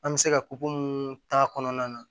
An bɛ se ka mun k'a kɔnɔna na